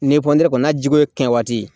Ni kɔni na jiko ye kɛɲɛ waati